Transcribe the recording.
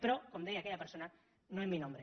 però com deia aquella persona no en mi nombre